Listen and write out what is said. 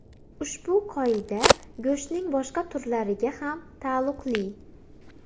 Ushbu qoida go‘shtning boshqa turlariga ham taalluqli.